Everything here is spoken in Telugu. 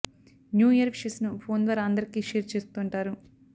న్యూ ఇయర్ విషెస్ ను ఫోన్ ద్వారా అందరికి షేర్ చేస్తుంటారు